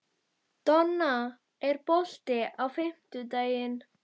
Donna, er bolti á fimmtudaginn?